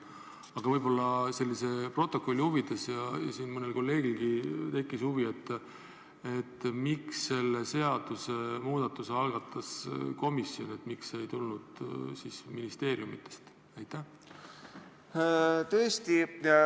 Aga võib-olla protokolli huvides ja mõnel kolleegilgi tekkis huvi: miks selle seadusemuudatuse algatas komisjon, miks see ei tulnud ministeeriumidest?